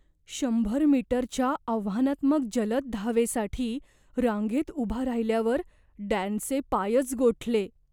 शंभर मीटरच्या आव्हानात्मक जलद धावेसाठी रांगेत उभा राहिल्यावर डॅनचे पायच गोठले.